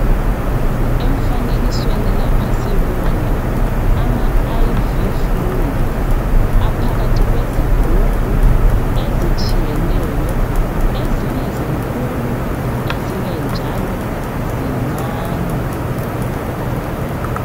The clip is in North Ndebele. Umfanekisweni lapha sibona ama IV fluids aphakathi kwezigumbu ezitshiyeneyo ezinye zinkulu ezinye njalo zincane.